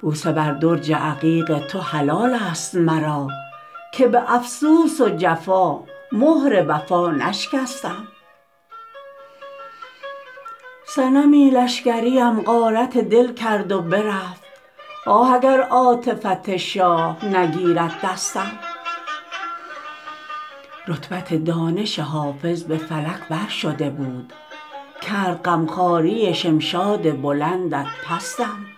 بوسه بر درج عقیق تو حلال است مرا که به افسوس و جفا مهر وفا نشکستم صنمی لشکریم غارت دل کرد و برفت آه اگر عاطفت شاه نگیرد دستم رتبت دانش حافظ به فلک بر شده بود کرد غم خواری شمشاد بلندت پستم